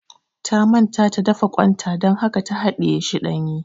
Ta manta ta dafa ƙwan ta dan haka ta haɗiye shi ɗanye